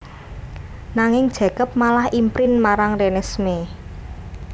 Nanging Jacob malah imprint marang Renesmee